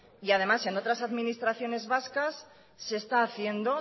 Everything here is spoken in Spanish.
y además en otras administraciones vascas se está haciendo